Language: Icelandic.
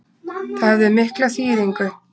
Það hefði mikla þýðingu